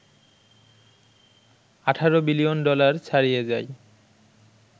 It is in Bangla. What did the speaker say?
১৮ বিলিয়ন ডলার ছাড়িয়ে যায়